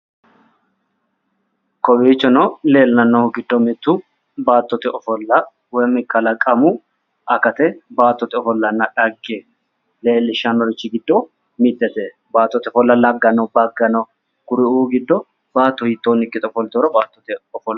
Koeiichono leellannohu giddo mittu baattote ofolla woy kalaqamu akate baattote ofollanna dhagge leellishshannorichi giddo mittete baattote ofolla lagga no bagga no kuriu giddo baatto hiittonni ikkite ofoltinoro baattote ofollo kultanno